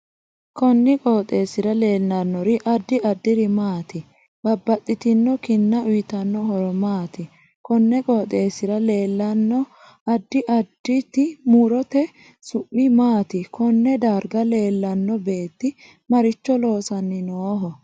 Konni qooxeesira leelanori addi addiri maati babbaxitinno kinna uyiitanno horo maati konni qooxeesira leelanno addi additi murote su'mi maati konne dargga leelanno beeti maricho loosani nooho